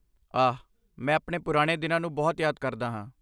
ਆਹ, ਮੈਂ ਪੁਰਾਣੇ ਦਿਨਾਂ ਨੂੰ ਬਹੁਤ ਯਾਦ ਕਰਦਾ ਹਾਂ